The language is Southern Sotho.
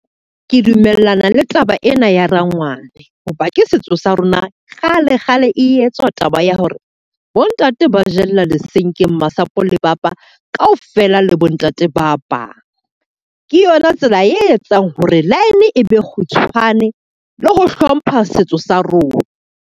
Ke dumellana le taba ena ya rangwane, hoba ke setso sa rona kgale kgale e etswa taba ya hore bo ntate ba jella lesenke, masapo le papa ka ofela le bo ntate ba bang. Ke yona tsela e etsang hore line e be kgutshwane le ho hlompha setso sa rona.